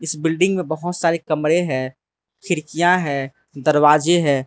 इस बिल्डिंग में बहोत सारे कमरे हैं खिड़कियां है दरवाजे हैं।